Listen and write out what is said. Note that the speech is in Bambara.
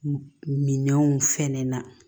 Minɛnw fɛnɛ na